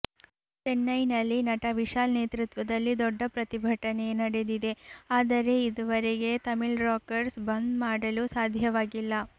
ಚೆನ್ನೈನಲ್ಲಿ ನಟ ವಿಶಾಲ್ ನೇತೃತ್ವದಲ್ಲಿ ದೊಡ್ಡ ಪ್ರತಿಭಟನೆಯೆ ನಡೆದಿದೆ ಆದರೆ ಇದುವರೆಗೆ ತಮಿಳ್ರಾಕರ್ಸ್ ಬಂದ್ ಮಾಡಲು ಸಾಧ್ಯವಾಗಿಲ್ಲ